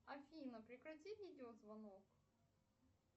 афина прекрати видеозвонок